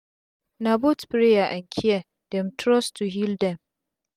na both prayer and care dem trust to heal dem